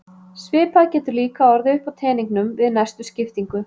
Svipað getur líka orðið upp á teningnum við næstu skiptingu.